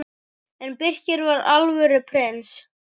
En Birkir var alvöru prins.